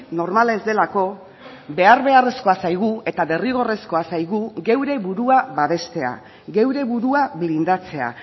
normala ez delako behar beharrezkoa zaigu eta derrigorrezkoa zaigu geure burua babestea geure burua blindatzea